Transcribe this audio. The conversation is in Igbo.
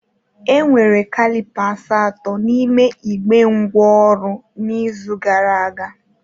Enwere calipers atọ n'ime igbe ngwá ọrụ n'izu gara aga